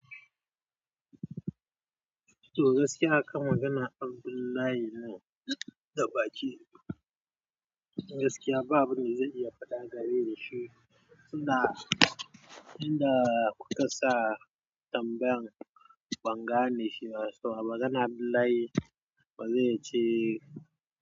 To gaskiya akan magana Abdullahi ne da baki. Gaskiya ba abin da zan iya faɗa game da shi. Tun da, tun da kukasa tambayan ban gane shi ba, so a magana Abdullahi wa zai ce.